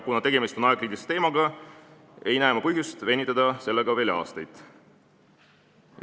Kuna tegemist on aegkriitilise teemaga, ei näe ma põhjust sellega veel aastaid venitada.